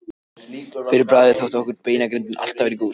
Fyrir bragðið þótti okkur beinagrindin alltaf vera í góðu skapi.